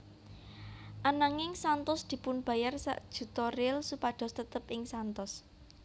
Ananging Santos dipunbayar sak juta real supados tetep ing Santos